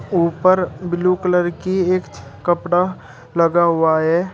ऊपर blue colour की एक कपड़ा लगा हुआ है।